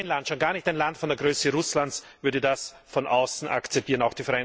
Kein Land, schon gar nicht ein Land von der Größe Russlands, würde das von außen akzeptieren.